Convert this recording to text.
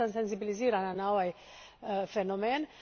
I zaista sam senzibilizirana na ovaj fenomen.